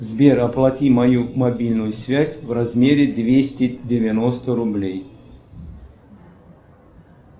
сбер оплати мою мобильную связь в размере двести девяносто рублей